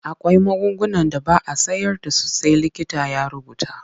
Akwai magungunan da ba a sayar da su sai likita ya rubuta.